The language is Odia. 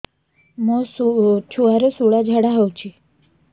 ମୋ ଛୁଆର ସୁଳା ଝାଡ଼ା ହଉଚି